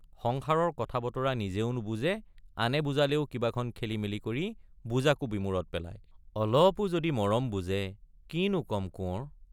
সংসাৰৰ কথাবতৰা নিজেও নুবুজে আনে বুজালেও কিবাখন খেলি মেলি কৰি বুজাকো বিমোৰত পেলায়—অলপো যদি মৰম বুজে কিনো কম কোঁৱৰ!